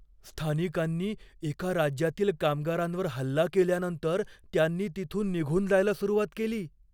स्थानिकांनी एका राज्यातील कामगारांवर हल्ला केल्यानंतर त्यांनी तिथून निघून जायला सुरुवात केली.